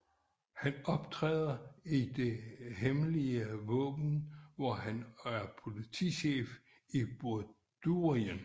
Han optræder i Det Hemmelige Våben hvor han er politichef i Bordurien